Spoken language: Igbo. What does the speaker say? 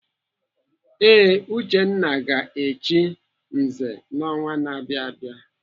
Ee, Uchenna ga-echi nze n'ọnwa na-abịa abịa.